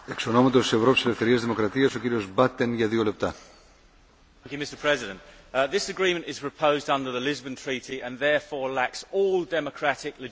Mr President, this agreement is proposed under the Lisbon Treaty and therefore lacks all democratic legitimacy.